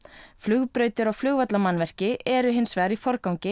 flugbrautir og eru hins vegar í forgangi